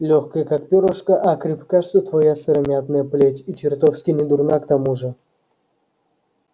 лёгкая как пёрышко а крепка что твоя сыромятная плеть и чертовски недурна к тому же